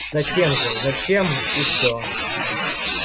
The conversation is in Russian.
затем же зачем и все